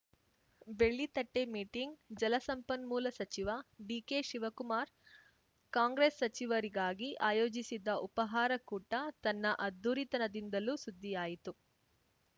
ಬೆಳ್ಳಿತಟ್ಟೆಮೀಟಿಂಗ್‌ ಜಲಸಂಪನ್ಮೂಲ ಸಚಿವ D K Shivakumar Congress ಸಚಿವರಿಗಾಗಿ ಆಯೋಜಿಸಿದ್ದ ಉಪಾಹಾರ ಕೂಟ ತನ್ನ ಅದ್ಧೂರಿತನದಿಂದಲೂ ಸುದ್ದಿಯಾಯಿತು